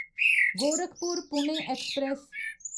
Gorakhpur Pune express